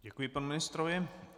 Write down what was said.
Děkuji panu ministrovi.